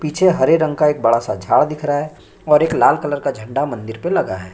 पीछे हरे रंग का एक बड़ा सा झाड़ दिख रहा है और एक लाल कलर का झंडा मंदिर पर लगा है।